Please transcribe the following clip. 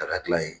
Daga dilan in